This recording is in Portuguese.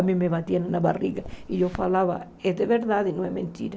A mim me batiam na barriga e eu falava, é de verdade, não é mentira.